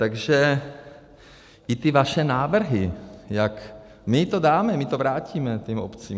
Takže i ty vaše návrhy, jak my to dáme, my to vrátíme těm obcím.